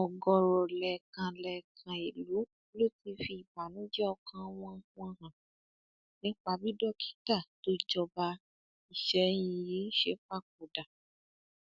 ọgọọrọ lẹẹkan lẹẹkan ìlú ló ti fi ìbànújẹ ọkàn wọn wọn hàn nípa bí dókítà tó jọba àsẹyìn yìí ṣe papòdà